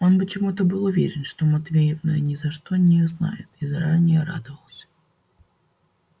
он почему то был уверен что матвеевна ни за что его не знает и заранее радовалась